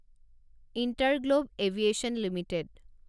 InterGlobe aviation limited